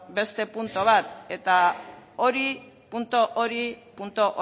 beste puntu bat eta hori puntu hori puntu